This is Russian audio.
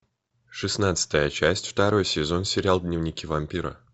шестнадцатая часть второй сезон сериал дневники вампира